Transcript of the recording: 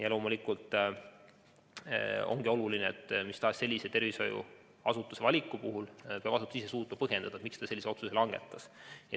Ja loomulikult on oluline, et mis tahes valiku puhul peab tervishoiuasutus ise suutma põhjendada, miks ta sellise otsuse langetas.